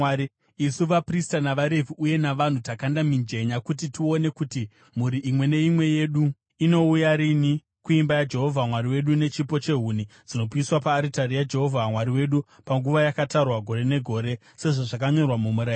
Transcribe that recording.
“Isu vaprista, navaRevhi uye navanhu, takanda mijenya kuti tione kuti mhuri imwe neimwe yedu inouya rini kuimba yaJehovha Mwari wedu, nechipo chehuni dzinopiswa paaritari yaJehovha Mwari wedu, panguva yakatarwa, gore negore, sezvazvakanyorwa mumurayiro.